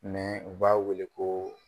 u b'a wele ko